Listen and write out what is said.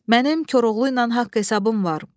Mənim Koroğlu ilə haqq hesabım var.